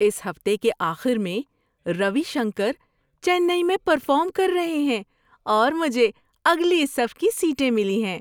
اس ہفتے کے آخر میں روی شنکر چنئی میں پرفارم کر رہے ہیں اور مجھے اگلی صف کی سیٹیں ملی ہیں!